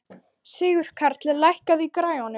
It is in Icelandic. Sigurkarl, lækkaðu í græjunum.